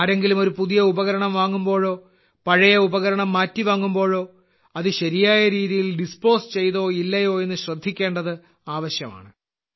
ആരെങ്കിലും ഒരു പുതിയ ഉപകരണം വാങ്ങുമ്പോഴോ പഴയ ഉപകരണം മാറ്റി വാങ്ങുമ്പോഴോ അത് ശരിയായ രീതിയിൽ ഡിസ്പോസ് ചെയ്തോ ഇല്ലയോ എന്നത് ശ്രദ്ധിക്കേണ്ടത് ആവശ്യമാണ്